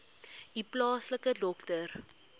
u plaaslike dokter